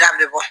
Dan bɛ bɔ